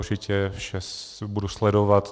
Určitě vše budu sledovat.